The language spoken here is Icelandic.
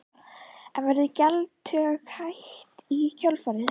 En verður gjaldtöku hætt í kjölfarið?